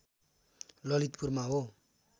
ललितपुरमा हो